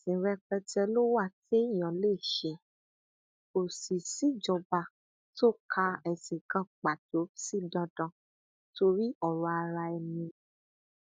ẹsìn rẹpẹtẹ ló wà téèyàn lè ṣe kó sì síjọba tó ka ẹsìn pàtó sí dandan torí ọrọ araẹni ni